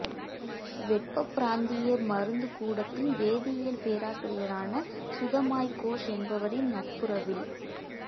வெப்பப் பிராந்திய மருந்துக் கூடத்தின் வேதியியல் பேராசிரியரான சுதமாய் கோஷ் என்பவரின் நட்புறவில்